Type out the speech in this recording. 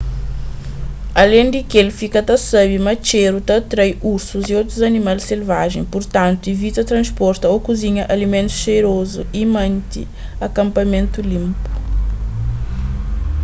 alen di kel fika ta sabe ma txéru ta atrai ursus y otus animal selvajen purtantu ivita transporta ô kuzinha alimentus xerozu y mante akanpamentu linpu